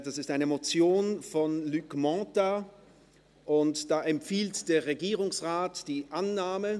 Es ist eine Motion von Luc Mentha, und da empfiehlt der Regierungsrat die Annahme.